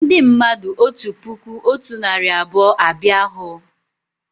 Ndị mmadụ otu puku otu narị abụọ abịa hú